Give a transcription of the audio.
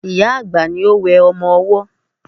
Ìyá-àgbà ni ó wẹ ọmọ ọwọ́